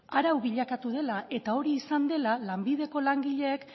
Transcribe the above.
arau bilakatu dela eta hori izan dela lanbideko langileek